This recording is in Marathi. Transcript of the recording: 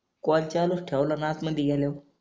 कॉल ठेवला न आत मंदी गेल्यावर